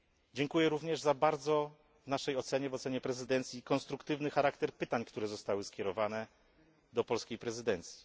Dziękuję również za bardzo w naszej ocenie, w ocenie prezydencji konstruktywny charakter pytań, które zostały skierowane do polskiej prezydencji.